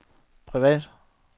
privat